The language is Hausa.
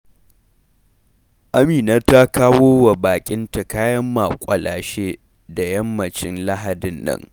Amina ta kawo wa baƙinta kayan maƙwalashe da yammacin Lahadi nan.